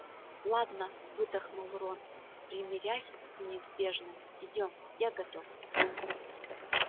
ладно выдохнул рон примирясь с неизбежным идём я готов